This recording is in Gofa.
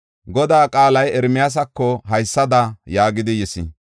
Godaa qaalay Ermiyaasako haysada yaagidi yis;